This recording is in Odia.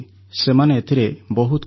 ସେମାନେ ଏଥିରେ ବହୁତ ଖୁସି